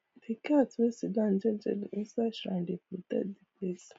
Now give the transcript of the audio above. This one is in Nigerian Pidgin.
the cat way sidown jejeli inside shrine dey protect the place